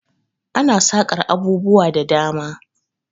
Ana saƙar abubuwa da dama.